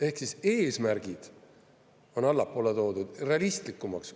Ehk siis eesmärgid on allapoole toodud, realistlikumaks.